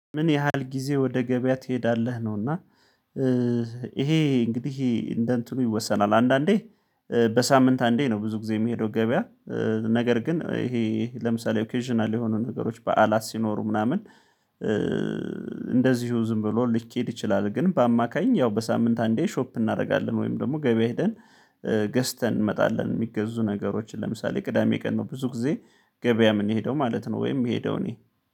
ምን ያህል ጊዜ ወደ ገበያ ትሄዳለህ ነው? እና ይሄ እንግዲህ እንደ እንትኑ ይወሰናል አንዳንዴ በሳምንት አንዴ ነው። ብዙ ጊዜ የሚሄደው ገበያ። ነገር ግን ይሄ ለምሳሌ ኦኬዥናል የሆኑ ነገሮች በዓላት ሲኖሩ ምናምን እንደዚሁ ዝም ብሎ ሊኬድ ይችላል። ግን በአማካኝ ያው በሳምንት አንዴ ሾፕ እናደርጋለን ወይም ደግሞ ገበያ ሄደን ገዝተን እንመጣለን። የሚገዙ ነገሮችን ለምሳሌ ቅዳሜ ቀን ነው ብዙ ጊዜ ገበያ የምንሄደው ማለት ነው። ወይም ምሄደው እኔ